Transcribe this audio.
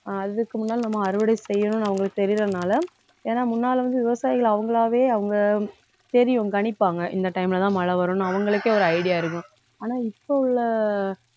அஹ் அதுக்கு முன்னால நம்ம அறுவடை செய்யணும்னு அவங்களுக்கு தெரியிறனால ஏன்னா முன்னால வந்து விவசாயிகள் அவுங்களாவே அவுங்க தெரியும் கணிப்பாங்க இந்த time ல தான் மழை வரும்ன்னு அவங்களுக்கே ஒரு idea இருக்கும் ஆனா இப்ப உள்ள அஹ்